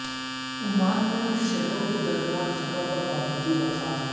Oman میں شہروں کے درمیان سفر پر پابندی برخاست